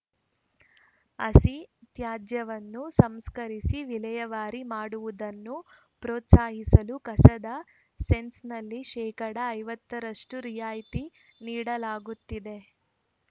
ಹಸಿ ತ್ಯಾಜ್ಯವನ್ನು ಸಂಸ್ಕರಿಸಿ ವಿಲೇವಾರಿ ಮಾಡುವುದನ್ನು ಪ್ರೋತ್ಸಾಹಿಸಲು ಕಸದ ಸೆಸ್‌ನಲ್ಲಿ ಶೇಕಡಾ ಐವತ್ತ ರಷ್ಟುರಿಯಾಯಿತಿ ನೀಡಲಾಗುತ್ತಿದೆ